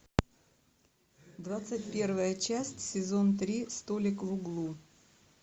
двадцать первая часть сезон три столик в углу